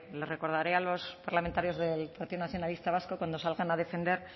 le recordaré a los parlamentarios del partido nacionalista vasco cuando salgan a defender